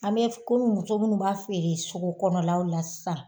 An be f komi muso munnu b'a feere sugu kɔnɔlaw la sisan